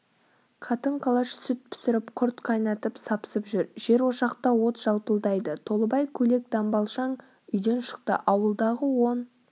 қатын-қалаш сүт пісіріп құрт қайнатып сапсып жүр жерошақта от жалпылдайды толыбай көйлек-дамбалшаң үйден шықты ауылдағы он